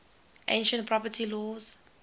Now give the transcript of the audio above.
ancient property laws